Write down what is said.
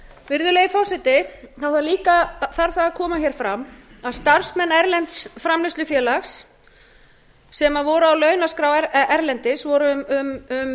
virðulegi forseti það þarf líka að koma fram að starfsmenn erlends framleiðslufélags sem voru á launaskrá erlendis voru um